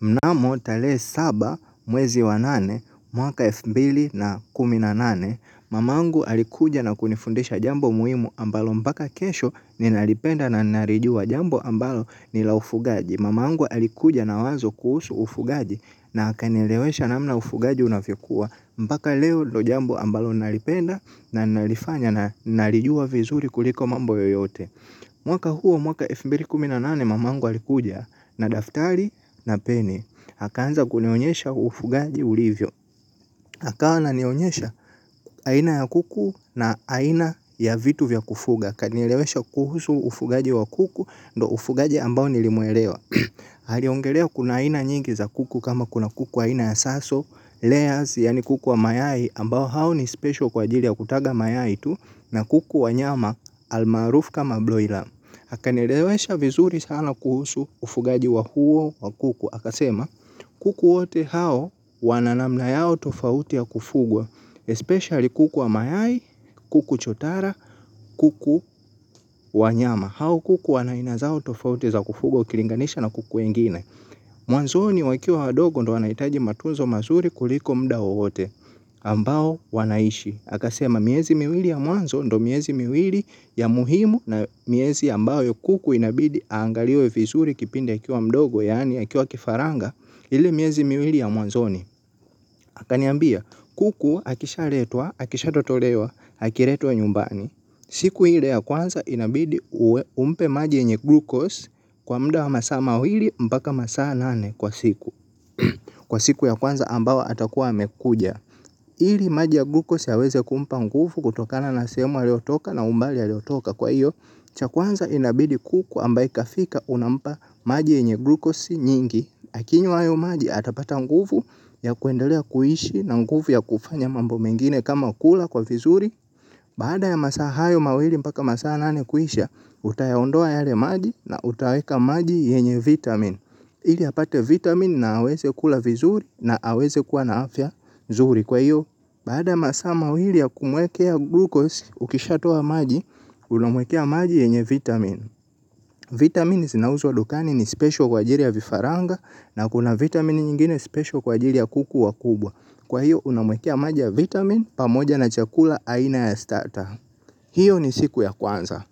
Mnamo tale saba mwezi wa nane mwaka elf mbili na kumi na nane mamangu alikuja na kunifundisha jambo muhimu ambalo mpaka kesho ninalipenda na narijua jambo ambalo ni la ufugaji mamangu alikuja na wazo kuhusu ufugaji na akanielewesha namna ufugaji unavyokuwa mpaka leo ndo jambo ambalo nalipenda na nalifanya na narijua vizuri kuliko mambo yoyote. Mwaka huo mwaka elfu mbili kumi na nane mamangu alikuja na daftari na peni akaanza kunionyesha ufugaji ulivyo akawa ananionyesha aina ya kuku na aina ya vitu vya kufuga akanielewesha kuhusu ufugaji wa kuku. Ndo ufugaji ambao nilimwelewa aliongelea kuna aina nyingi za kuku kama kuna kuku aina ya saso Layers yani kuku wa mayai ambao hao ni special kwa ajiri ya kutaga mayai tu. Na kuku wa nyama almaarufu kama broiler.akanielewesha vizuri sana kuhusu ufugaji wa huo wa kuku. Akasema kuku wote hao wana namna yao tofauti ya kufugwa. Especially kuku wa mayai, kuku chotara, kuku wa nyama. Hao kuku wana aina zao tofauti za kufugwa ukilinganisha na kuku wengine. Mwanzoni wakiwa wadogo ndo wanaitaji matunzo mazuri kuliko mda woeote ambao wanaishi. Akasema miezi miwili ya mwanzo ndo miezi miwili ya muhimu na miezi ambayo kuku inabidi aangaliwe fizuri kipindi akiwa mdogo yaani akiwa kifaranga ili miezi miwili ya mwanzoni akaniambia kuku akishaletwa, akishatotolewa, akiretwa nyumbani. Siku ile ya kwanza inabidi umpe maji yenye glucose kwa mda wa masaa mawili mpaka masaa nane kwa siku. Kwa siku ya kwanza ambayo atakuwa amekuja ili maji ya glukosi yaweze kumpa ngufu kutokana na sehemu aliotoka na umbali aliotoka kwa iyo. Cha kwanza inabidi kuku ambaye kafika unampa maji yenye glukosi nyingi. Akinywa hayo maji atapata nguvu ya kuendelea kuishi na nguvu ya kufanya mambo mengine kama kula kwa vizuri. Baada ya masaa hayo mawili mpaka masaa nane kuisha utayaondoa yale maji na utaweka maji yenye vitamin ili apate vitamin na aweze kula vizuri na aweze kuwa na afya nzuri kwa hiyo. Baada ya masaa mawili ya kumwekea glucose ukishatoa maji, unamwekea maji yenye vitamin. Vitamin zinauzwa dukani ni special kwa ajiri ya vifaranga na kuna vitamin nyingine special kwa ajiri ya kuku wa kubwa. Kwa hiyo unamwekea maji ya vitamin pamoja na chakula aina ya starter. Hiyo ni siku ya kwanza.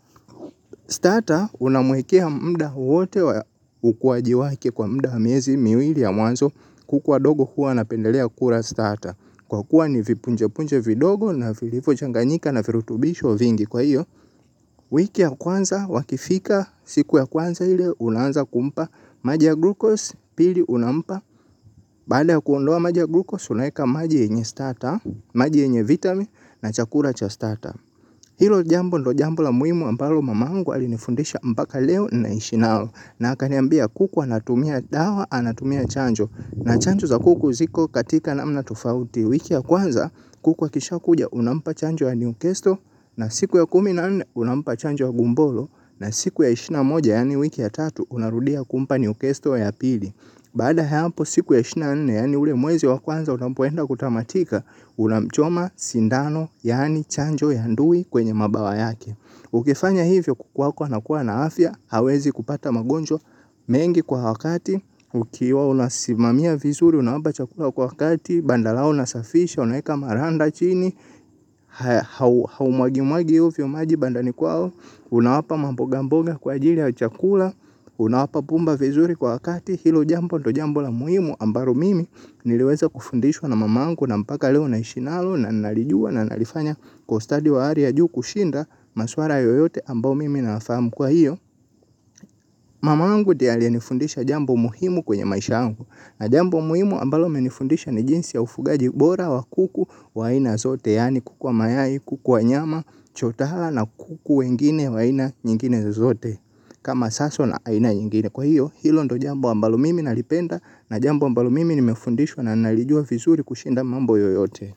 Starter unamwekea mda wote wa ukuaji wake kwa mda wa miezi miwili ya mwanzo kuku wadogo huwa wanapendelea kura starter. Kwa kuwa ni vipunje punje vidogo na vilivyochanganyika na virutubisho vingi kwa hiyo. Wiki ya kwanza wakifika siku ya kwanza ile unaanza kumpa maji ya glucose pili unampa. Baada ya kuondoa maji ya glucose unaeka maji yenye starter, maji yenye vitamin na chakula cha starter. Hilo jambo ndo jambo la muimu ambalo mamangu alinifundisha mpaka leo naishi nalo na akaniambia kuku anatumia dawa anatumia chanjo na chanjo za kuku ziko katika namna tofauti wiki ya kwanza kuku akishakuja unampa chanjo ya Newcastle na siku ya kumi na nne unampa chanjo ya gumbolo na siku ya ishirini na moja yaani wiki ya tatu unarudia kumpa newcastle ya pili. Baada ya hapo siku ya ishirini na nne, yaani ule mwezi wa kwanza unapoenda kutamatika, unamchoma sindano, yaani chanjo ya ndui kwenye mabawa yake. Ukifanya hivyo kuku wako anakuwa na afya, hawezi kupata magonjwa mengi kwa wakati, ukiwa unasimamia vizuri, unawapa chakula kwa wakati, banda lao unasafisha, unaeka maranda chini. Haumwagi mwagi ovyo maji bandani kwao. Unawapa mambogamboga kwa ajili ya chakula. Unawapa pumba vizuri kwa wakati. Hilo jambo ndo jambo la muhimu ambalo mimi niliweza kufundishwa na mamangu. Na mpaka leo naishi nalo na nalijua na nalifanya kwa ustadi wa ari ya juu kushinda. Maswala yoyote ambao mimi nayafahamu kwa hiyo mamangu ndiye aliyenifundisha jambo muhimu kwenye maisha yangu. Na jambo muhimu ambalo amenifundisha ni jinsi ya ufugaji bora wa kuku wa aina zote yaani kuku wa mayai, kuku wa nyama, chotara na kuku wengine wa aina nyingine zote kama saso na aina nyingine. Kwa hiyo hilo ndo jambo ambalo mimi nalipenda. Na jambo ambalo mimi nimefundishwa na nalijua vizuri kushinda mambo yoyote.